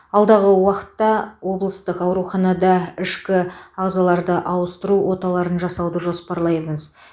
алдағы уақытта облыстық ауруханада ішкі ағзаларды ауыстыру оталарын жасауды жоспарлаймыз